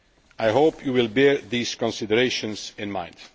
I hope that you will bear these considerations in mind.